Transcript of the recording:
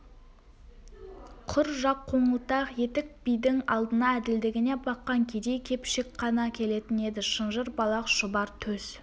құр жақ қоңылтақ етік бидің алдына әділдігіне баққан кедей-кепшік қана келетін еді шынжыр балақ шұбар төс